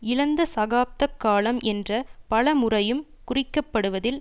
இழந்த தசாப்த காலம் என்ற பல முறையும் குறிக்கப்படுவதில்